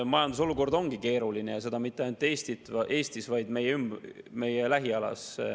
Majandusolukord ongi keeruline ja seda mitte ainult Eestis, vaid ka meie lähiümbruses.